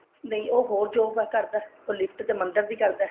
ਨਹੀਂ ਉਹ ਹੋਰ job ਕਰਦਾ ਉਹ lift ਤੇ ਮੰਦਰ ਦੀ ਕਰਦਾ